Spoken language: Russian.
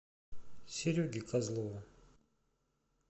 сереге козлову